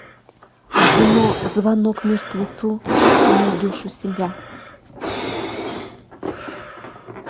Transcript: кино звонок мертвецу ты найдешь у себя